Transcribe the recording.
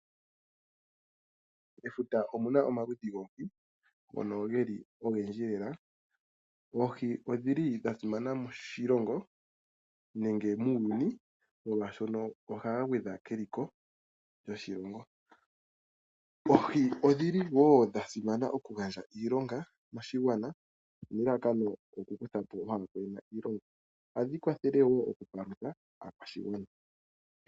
Mefuta omuna omaludhi goohi ogendji lela. Oohi odhili dhasimana moshilongo nenge muuyuni molwaashoka ohadhi gwedha keliko lyoshilongo. Oohi odhili wo dhasimana moku gandja iilonga moshigwana, ohadhi kwathele wo mokukwathela oshigwana.